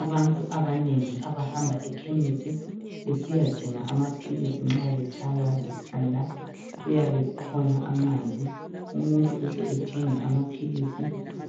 Abantu abanengi abahamba ekhemisi besiyadinga amaphilisi nxa betshaywa likhanda kuyabe kukhona amanzi umuntu uhle ethenge amaphilisi